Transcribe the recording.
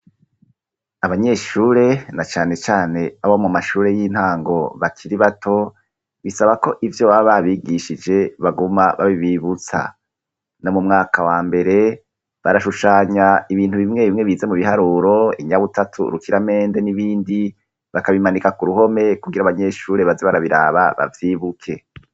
Abanyeshure na cane cane abo mu mashure y'intango bakiri bato, bisabako ivyo baba babigishije baguma babibibutsa ,no mu mwaka wa mbere barashushanya ibintu bimwe bimwe bize mu biharuro inyabutatu rukiramende n'ibindi bakabimanika ku ruhome kugira abanyeshure baze barabiraba bavyibuke